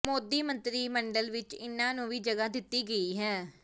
ਮੋਦੀ ਮੰਤਰੀ ਮੰਡਲ ਵਿੱਚ ਇਨ੍ਹਾਂ ਨੂੰ ਵੀ ਜਗ੍ਹਾ ਦਿੱਤੀ ਗਈ ਹੈ